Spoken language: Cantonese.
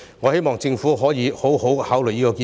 我希望政府可以好好考慮這項建議。